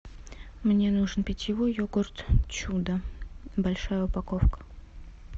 мне нужен питьевой йогурт чудо большая упаковка